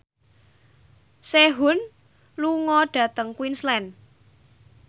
Sehun lunga dhateng Queensland